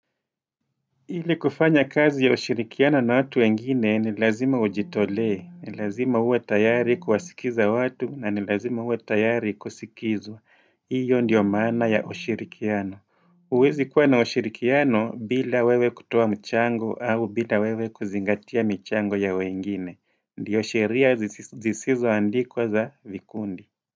Ili kufanya kazi ya ushirikiano na watu wengine ni lazima ujitolee, ni lazima uwe tayari kuwasikiza watu na ni lazima uwe tayari kusikizwa. Iyo ndio mana ya ushirikiano. Huwezi kuwa na ushirikiano bila wewe kutoa mchango au bila wewe kuzingatia mchango ya wengine. Ndiyo sheria zisizo andikwa za vikundi.